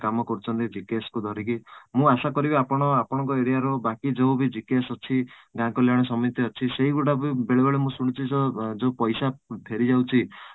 କାମ କରୁଛନ୍ତି GKS କୁ ଧରିକି ମୁଁ ଆଶା କରିବି ଆପଣ ଆପଣଙ୍କ area ର ବାକି ଯୋଉ ବି GKS ଅଛି ଗାଁ କଲ୍ୟାଣ ସମିତି ଅଛି ସେଇ ଗୁଡା ବି ବେଳେ ବେଳେ ମୁଁ ଶୁଣିଛି ଯୋଉ ପଇସା ଫେରିଯାଉଛି